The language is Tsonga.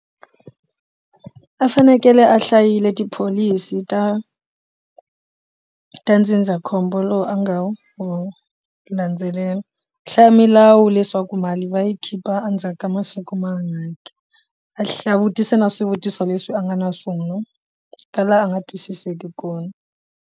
A fanekele a hlayile tipholisi ta ta ndzindzakhombo lowu a nga wu wu landzelela hlaya milawu leswaku mali va yi khipha endzhaku ka masiku mangaki a hla a vutisa na swivutiso leswi a nga na swon'wa ka laha a nga twisiseki kona.